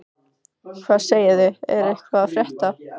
Hvað segið þið, er eitthvað að frétta?